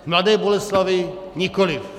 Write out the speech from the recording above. V Mladé Boleslavi nikoliv.